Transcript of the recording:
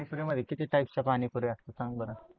किती टाईप चे पाणीपुरी असते सांग बरं?